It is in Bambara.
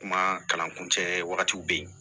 Kuma kalan kun cɛ wagatiw bɛ yen